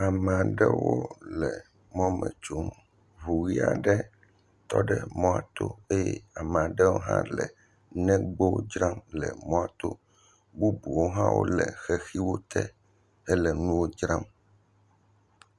Ame aɖewo le mɔ me tsom, ŋu ʋɛ̃ aɖe tɔ ɖe mɔto eye ame aɖewo hã le negbowo dzram le mɔa to, bubuwo hã wole xexiwo te hele nuwo dzram.